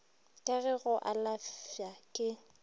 ka re go alafša ke